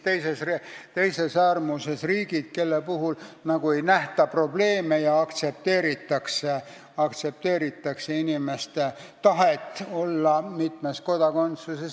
Teises äärmuses on riigid, kelle puhul ei nähta probleeme ja aktsepteeritakse inimeste tahet olla mitmes kodakondsuses.